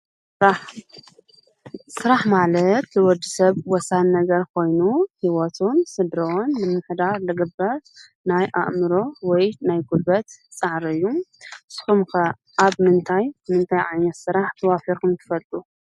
ስራሕ፡- ስራሕ ማለት ንወዲሰብ ወሳኒ ነገር ኮይኑ ፤ሂወቶም፣ ስድርኦም ንምምሕዳር ዝግበር ናይ አእምሮ ወይ ናይ ጉልበት ፃዕሪ እዩ። ንስኹም ከ አብ ምንታይ ምንታይ ዓይነት ስራሕ ተዋፊርኩም ትፈልጡ?